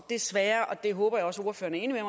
desværre og det håber jeg også ordføreren er